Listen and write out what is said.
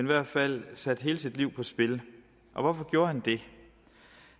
hvert fald satte hele sit liv på spil hvorfor gjorde han det